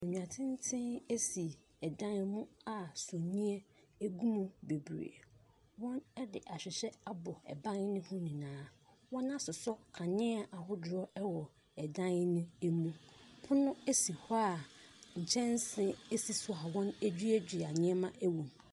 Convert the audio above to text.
Nnua teten si dan ho a sumiiɛ gu mu bebree. Wɔde ahwehwɛ ɛban no ho nyinaa,. Wɔasoso kanea ahodoɔ dan mu. Pono si hɔ a nkyɛnsee sisi so a wɔaduadua nneɛma wɔ mu.